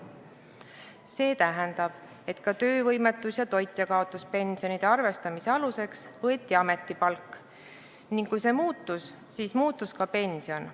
See tähendab, et ka töövõimetus- ja toitjakaotuspensioni arvestamise aluseks võeti ametipalk ning kui see muutus, siis muutus ka pension.